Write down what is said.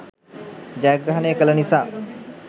ජයග්‍රහණය කළ නිසා